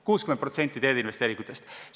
60% teeinvesteeringutest!